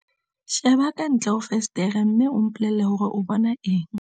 sheba ka ntle ho fensetere mme o mpolelle hore o bona eng